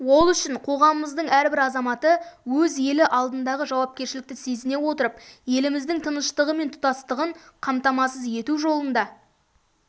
ол үшін қоғамымыздың әрбір азаматы өз елі алдындағы жауапкершілікті сезіне отырып еліміздің тыныштығы мен тұтастығын қамтамасыз ету жолында